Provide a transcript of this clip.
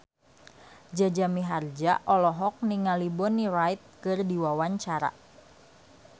Jaja Mihardja olohok ningali Bonnie Wright keur diwawancara